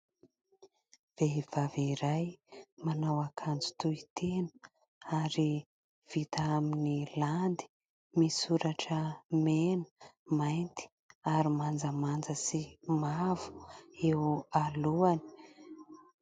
Vehivavy iray manao akanjo tohitena ary vita amin'ny landy : misoratra mena, mainty ary manjamanja sy mavo eo alohany.